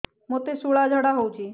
ମୋତେ ଶୂଳା ଝାଡ଼ା ହଉଚି